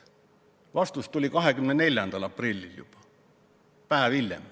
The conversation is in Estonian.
Vastus tuli juba 24. aprillil, päev hiljem.